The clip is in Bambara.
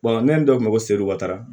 n'an dɔ b'a fɔ seliw kar